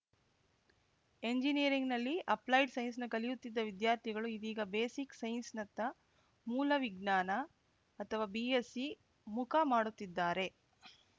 ಎಂಜಿನಿಯರಿಂಗ್‌ನಲ್ಲಿ applied science ಕಲಿಯುತ್ತಿದ್ದ ವಿದ್ಯಾರ್ಥಿಗಳು ಇದೀಗ ಬೇಸಿಕ್‌ ಸೈನ್ಸ್‌ನತ್ತ ಮೂಲ ವಿಜ್ಞಾನ ಅಥವಾ ಬಿಎಸ್‌ಸಿ ಮುಖ ಮಾಡುತ್ತಿದ್ದಾರೆ